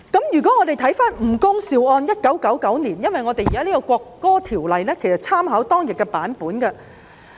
如果翻看1999年吳恭劭一案的判案書，其實《條例草案》參考了有關的內容。